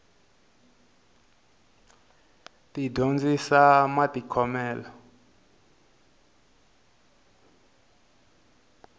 ti dyondzisa matikhomele